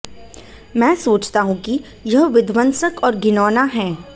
मैं सोचता हूं कि यह विध्वंसक और घिनौना है